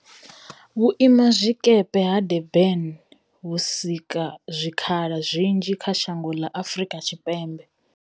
Vhuimazwikepe ha Durban vhu sika zwikhala zwinzhi kha shango ḽa Afrika Tshipembe.